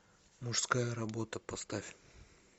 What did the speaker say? мужская работа поставь